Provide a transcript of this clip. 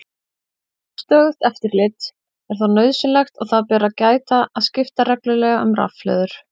Stöðugt eftirlit er þó nauðsynlegt og þess ber að gæta að skipta reglulega um rafhlöður.